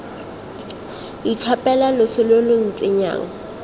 itlhophela loso lo lo ntsenyang